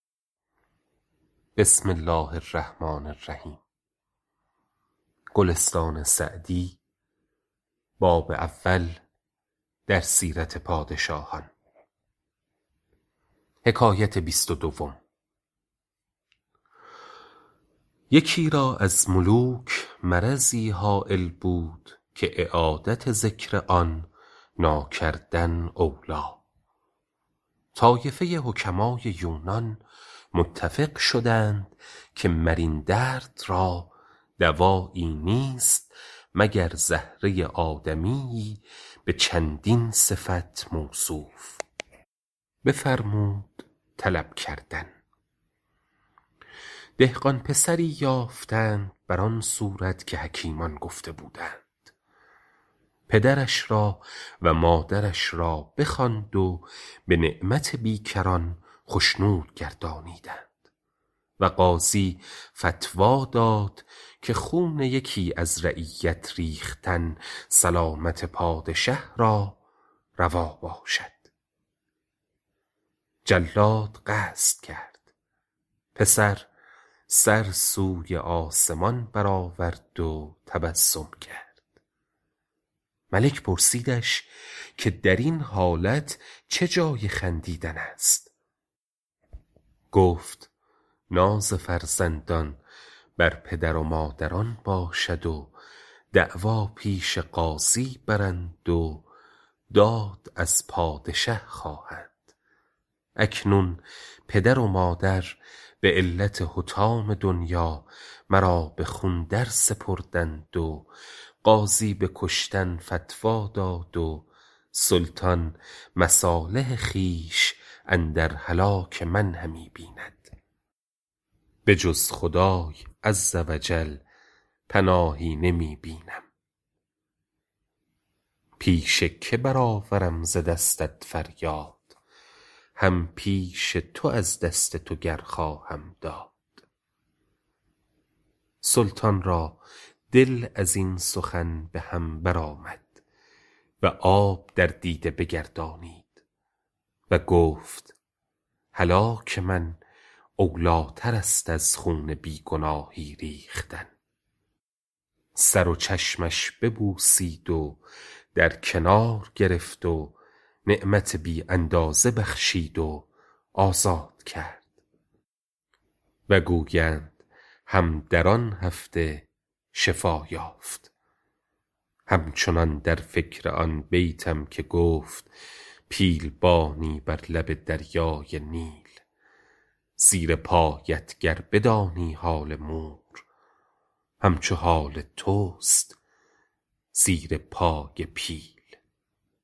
یکی را از ملوک مرضی هایل بود که اعادت ذکر آن ناکردن اولیٰ طایفه حکمای یونان متفق شدند که مر این درد را دوایی نیست مگر زهره آدمی به چندین صفت موصوف بفرمود طلب کردن دهقان پسری یافتند بر آن صورت که حکیمان گفته بودند پدرش را و مادرش را بخواند و به نعمت بیکران خشنود گردانیدند و قاضی فتویٰ داد که خون یکی از رعیت ریختن سلامت پادشه را روا باشد جلاد قصد کرد پسر سر سوی آسمان بر آورد و تبسم کرد ملک پرسیدش که در این حالت چه جای خندیدن است گفت ناز فرزندان بر پدران و مادران باشد و دعوی پیش قاضی برند و داد از پادشه خواهند اکنون پدر و مادر به علت حطام دنیا مرا به خون درسپردند و قاضی به کشتن فتویٰ داد و سلطان مصالح خویش اندر هلاک من همی بیند به جز خدای عزوجل پناهی نمی بینم پیش که بر آورم ز دستت فریاد هم پیش تو از دست تو گر خواهم داد سلطان را دل از این سخن به هم بر آمد و آب در دیده بگردانید و گفت هلاک من اولیٰ تر است از خون بی گناهی ریختن سر و چشمش ببوسید و در کنار گرفت و نعمت بی اندازه بخشید و آزاد کرد و گویند هم در آن هفته شفا یافت هم چنان در فکر آن بیتم که گفت پیل بانی بر لب دریای نیل زیر پایت گر بدانی حال مور هم چو حال توست زیر پای پیل